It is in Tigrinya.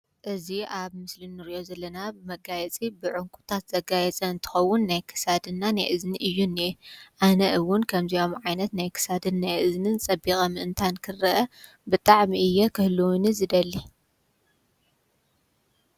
እዚ ኣብ ምስሊ ንሪኦ ዘለና መጋየፂ ብዕንቁታት ዘጋየፅ እንትከዉን ናይ ክሳድ እና ናይ እዝኒ እዩ ዝኒአ ኣነ እዉን ከምዚኦም ዓይነት ናይ ክሳድ ናይ እዝንን ፅቢቀ ምእንታን ክረአ ብጣዕሚ'የ ክህልወኒ ዝደሊ።